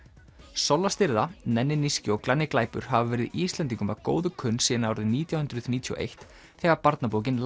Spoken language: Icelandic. Solla nenni níski og glanni glæpur hafa verið Íslendingum að góðu kunn síðan árið nítján hundruð níutíu og eitt þegar barnabókin